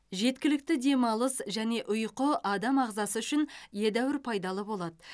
жеткілікті демалыс және ұйқы адам ағзасы үшін едәуір пайдалы болады